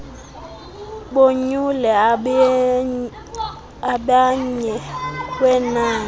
bonyule abenmye wenani